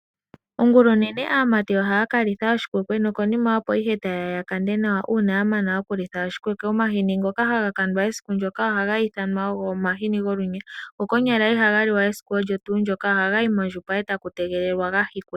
Ongulonene aamati ohaakalitha oshikwekwe nokonima opo ihe tayeya yakande nawa uuna yamana okulitha oshikwekwe, omahini ngoka haga kandwa esiku ndyoka ohaga ithanwa omahini golunya go konyala ihaga liwa esiku ondyo tuu ndyoka ohagayi mondjupa etaku tegelelwa gahikwe.